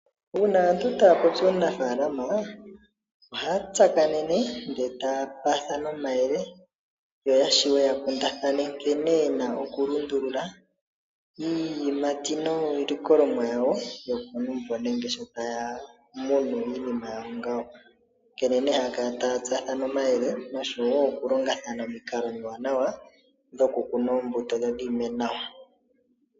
Uuna aantu taya popi uunafaalama ohaya tsekanene e taya paathana omayele yo ya shiwe ya kundathane nkene ye na okulundulula iiyimayi niilikolomwa yawo yonuumvo nenge sho taya munu iinima yawo nga. Ohaya kala taya paathana omayele noshowo okulongathana omikalo omiwanawa dhokukuna oombuto dho dhi ime nawa.